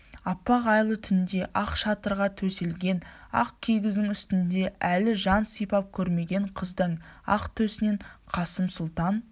аппақ айлы түнде ақ шатырға төселген ақ кигіздің үстінде әлі жан сипап көрмеген қыздың ақ төсінен қасым сұлтан